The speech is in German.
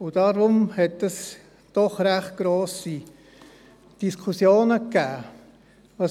Deshalb hat dies zu doch recht grossen Diskussionen geführt.